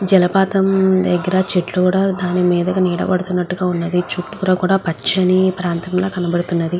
జల పాతం దెగ్గర చెట్లు కూడా దాని మీదగా నీడపడుతున్నట్టుగ వున్నది కూడా పచ్చని ప్రాంతంల కనబడుతున్నది.